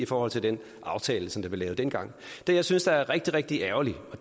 i forhold til den aftale som der blev lavet dengang det jeg synes er rigtig rigtig ærgerligt